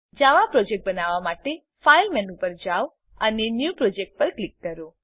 જાવા project બનાવવા માટે file menu પર જાવ અને ન્યૂ પ્રોજેક્ટ પર ક્લિક કરો